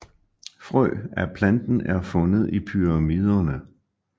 Frø af planten er fundet i pyramiderne